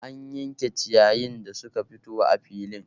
An yanke ciyayin da suka fito a filin